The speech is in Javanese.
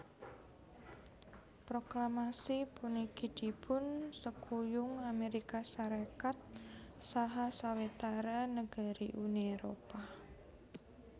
Proklamasi puniki dipun sekuyung Amérika Sarékat saha sawetara negari Uni Éropah